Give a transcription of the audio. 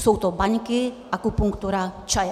Jsou to baňky, akupunktura, čaje.